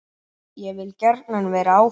Ég vil gjarnan vera áfram.